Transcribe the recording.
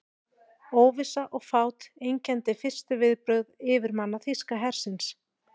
Óvissa og fát einkenndi fyrstu viðbrögð yfirmanna þýska hersins.